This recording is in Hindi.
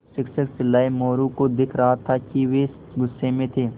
शिक्षक चिल्लाये मोरू को दिख रहा था कि वे गुस्से में थे